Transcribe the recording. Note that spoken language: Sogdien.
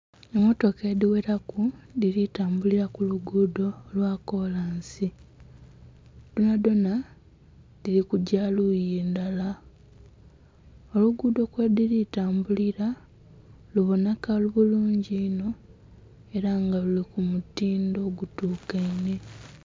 Emmotoka edhiwelaku dhili tambulila ku luguudho lwa kolansi. Dhonadhona dhili kugya luuyi ndala. Oluguudho kwedhili tambulila luboneka bulungi inho ela nga luli ku mutindo ogutukainhe.